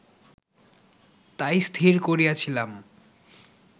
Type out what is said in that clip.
তাই স্থির করিয়াছিলাম